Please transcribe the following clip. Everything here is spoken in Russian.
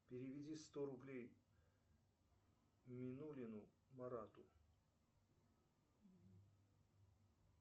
переведи сто рублей минулину марату